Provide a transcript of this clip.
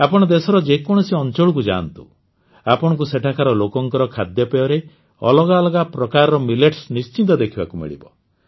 ଆପଣ ଦେଶର ଯେକୌଣସି ଅଂଚଳକୁ ଯାଆନ୍ତୁ ଆପଣଙ୍କୁ ସେଠାକାର ଲୋକଙ୍କ ଖାଦ୍ୟପେୟରେ ଅଲଗା ଅଲଗା ପ୍ରକାରର ମିଲେଟ୍ସ ନିଶ୍ଚିତ ଦେଖିବାକୁ ମିଳିବ